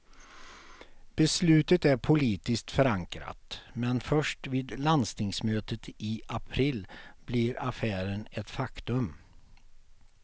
Beslutet är politiskt förankrat, men först vid landstingsmötet i april blir affären ett faktum.